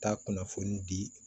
Taa kunnafoni di